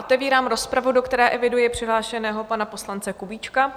Otevírám rozpravu, do které eviduji přihlášeného pana poslance Kubíčka.